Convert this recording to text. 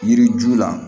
Yiri ju la